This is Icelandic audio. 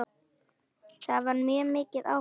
Það var mjög mikið áfall.